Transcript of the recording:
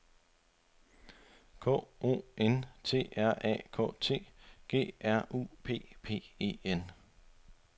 K O N T R A K T G R U P P E N